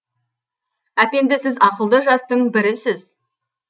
әпенді сіз ақылды жастың бірісіз